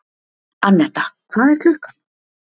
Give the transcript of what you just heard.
Annetta, hvað er klukkan?